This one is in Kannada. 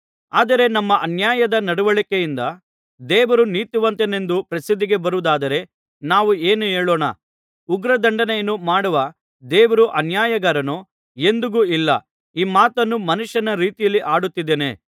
ಆದರೆ ನಮ್ಮ ಅನ್ಯಾಯದ ನಡವಳಿಕೆಯಿಂದ ದೇವರು ನೀತಿವಂತನೆಂದು ಪ್ರಸಿದ್ಧಿಗೆ ಬರುವುದಾದರೆ ನಾವು ಏನು ಹೇಳೋಣ ಉಗ್ರದಂಡನೆಯನ್ನು ಮಾಡುವ ದೇವರು ಅನ್ಯಾಯಗಾರನೋ ಎಂದಿಗೂ ಇಲ್ಲ ಈ ಮಾತನ್ನು ಮನುಷ್ಯನ ರೀತಿಯಲ್ಲಿ ಆಡುತ್ತಿದ್ದೇನೆ